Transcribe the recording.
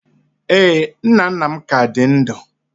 Ee, nna nna m ka dị ndụ